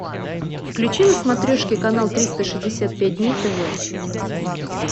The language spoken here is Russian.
включи на смотрешке канал триста шестьдесят пять дней тв